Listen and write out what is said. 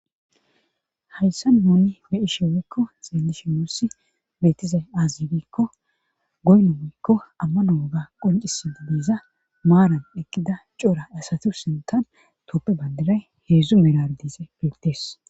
Hayssan nuuni be'ishin woykko xeelishin beetizay aaze giikko goyno woyko amano wogga qoccisiza maaran eqqida cora asata sinththan tophe bandiray heedzu miyara dizay beetees.